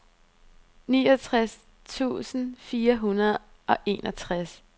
niogtres tusind fire hundrede og enogtres